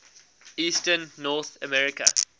eastern north america